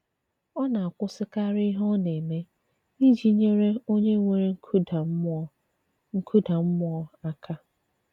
Ọ̀ na-àkwùsịkàrì ìhè ọ̀ na-eme ìjì nyere onye nwèrè nkùdà mmùọ nkùdà mmùọ aka.